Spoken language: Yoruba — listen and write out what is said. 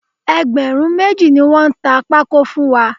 Ẹgbẹ̀rún méjì ni wọ́n ta pákó fún wa